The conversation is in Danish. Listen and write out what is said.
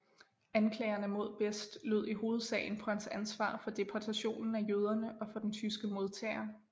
Anklagerne mod Best lød i hovedsagen på hans ansvar for deportationen af jøderne og for den tyske modterror